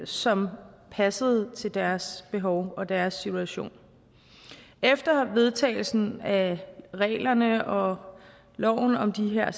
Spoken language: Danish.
som passede til deres behov og deres situation efter vedtagelsen af reglerne og loven om de her